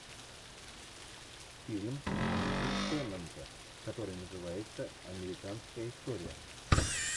фильм энди теннанта который называется американская история